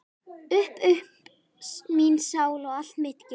Upp upp mín sál og allt mitt geð!